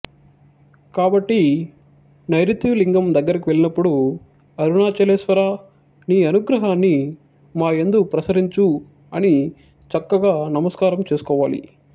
కాబట్టి నైరుతి లింగం దగ్గరకు వెళ్ళినప్పుడు అరుణాచలేశ్వరా నీ అనుగ్రహాన్ని మాయందు ప్రసరించు అని చక్కగా నమస్కారం చేసుకోవాలి